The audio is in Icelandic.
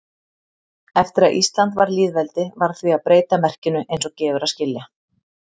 Eftir að Ísland varð lýðveldi varð því að breyta merkinu eins og gefur að skilja.